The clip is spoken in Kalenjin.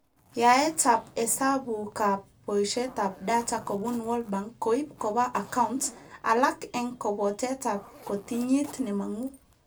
Yaetab hesabukab boishetab data kobun Word Bank koib koba account, alak eng kabotetab kotinyit nemangu